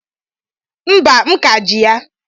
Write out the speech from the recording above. Mba, m ka ji ya.